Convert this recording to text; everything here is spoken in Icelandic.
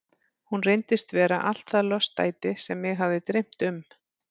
Hún reyndist vera allt það lostæti sem mig hafði dreymt um.